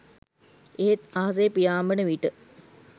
එහෙත් අහසේ පියාඹන විට